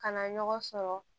Kana ɲɔgɔn sɔrɔ